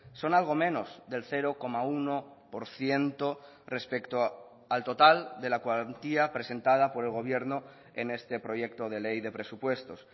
son algo menos del cero coma uno por ciento respecto al total de la cuantía presentada por el gobierno en este proyecto de ley de presupuestos